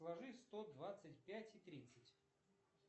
сложи сто двадцать пять и тридцать